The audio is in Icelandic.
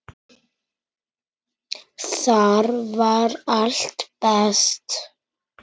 Þar var allt best.